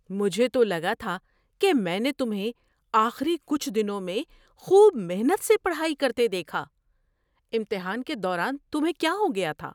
مجھے تو لگا تھا کہ میں نے تمہیں آخری کچھ دنوں میں خوب محنت سے پڑھائی کرتے دیکھا۔ امتحان کے دوران تمہیں کیا ہو گیا تھا؟